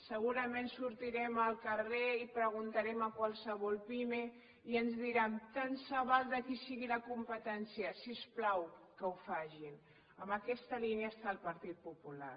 segurament sortirem al carrer i preguntarem a qualsevol pime i ens diran tant se val de qui sigui la competència si us plau que ho facin en aquesta línia està el partit popular